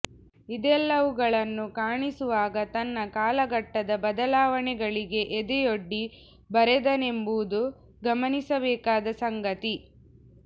ಇದೆಲ್ಲವುಗಳನ್ನು ಕಾಣಿಸುವಾಗ ತನ್ನ ಕಾಲಘಟ್ಟದ ಬದಲಾವಣೆಗಳಿಗೆ ಎದೆಯೊಡ್ಡಿ ಬರೆದನೆಂಬುದು ಗಮನಿಸಬೇಕಾದ ಸಂಗತಿ